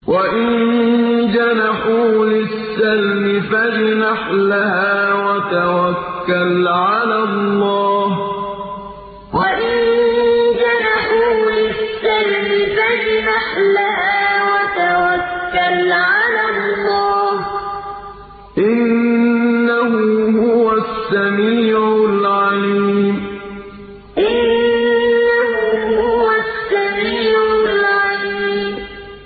۞ وَإِن جَنَحُوا لِلسَّلْمِ فَاجْنَحْ لَهَا وَتَوَكَّلْ عَلَى اللَّهِ ۚ إِنَّهُ هُوَ السَّمِيعُ الْعَلِيمُ ۞ وَإِن جَنَحُوا لِلسَّلْمِ فَاجْنَحْ لَهَا وَتَوَكَّلْ عَلَى اللَّهِ ۚ إِنَّهُ هُوَ السَّمِيعُ الْعَلِيمُ